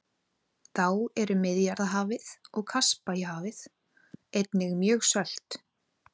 Þá eru Miðjarðarhafið og Kaspíahafið einnig mjög sölt.